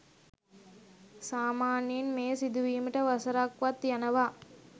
සාමාන්‍යයෙන් මෙය සිදුවීමට වසරක් වත් යනවා.